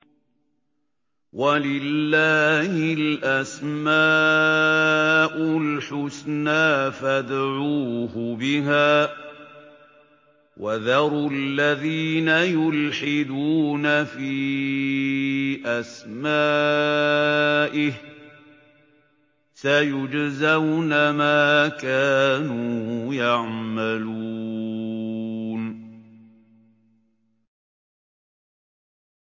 وَلِلَّهِ الْأَسْمَاءُ الْحُسْنَىٰ فَادْعُوهُ بِهَا ۖ وَذَرُوا الَّذِينَ يُلْحِدُونَ فِي أَسْمَائِهِ ۚ سَيُجْزَوْنَ مَا كَانُوا يَعْمَلُونَ